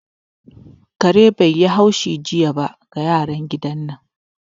Kare bata yi haushi jiya wa yaran gidan nan ba